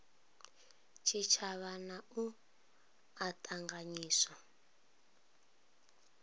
tshitshavha na u a ṱanganyisa